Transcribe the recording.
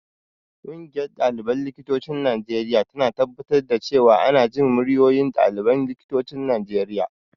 Ƙungiyar ɗaliban likitocin Najeriya tana tabbatar da cewa ana jin muryoyin ɗaliban likitocin Najeriya.